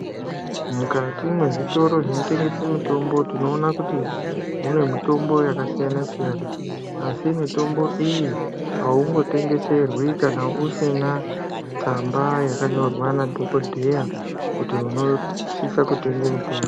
Mukati mwezvitoro zvinotengese mitombo tinoona kuti mune mitombo yakasiyana-siyana. Asi mitombo iyi haungotengeserwi kana usina tsamba yakanyorwa nadhogodheya kuti unosise kutenge mutombo.